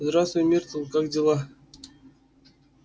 здравствуй миртл как дела